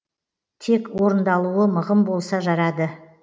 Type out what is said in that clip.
тек орындалуы мығым болса жарады